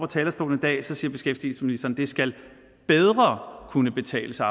talerstolen i dag siger beskæftigelsesministeren det skal bedre kunne betale sig